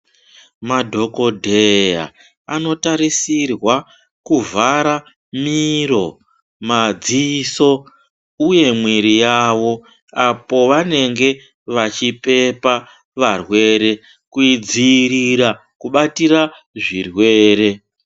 Madhokodheya anotarisirwa kuvhara miro, madziso uye mwiri yavo apo pavanenge vachipepa varwere kudzirira kubatira zvirwere.